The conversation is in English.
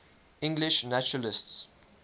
english naturalists